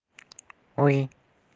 ой